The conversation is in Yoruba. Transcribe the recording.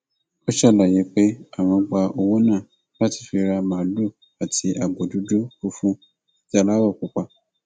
ó ṣàlàyé pé àwọn gba owó náà láti fi ra màálùú àti agbo dúdú funfun àti aláwọ pupa